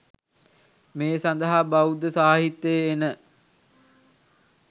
මේ සඳහා බෞද්ධ සාහිත්‍යයේ එන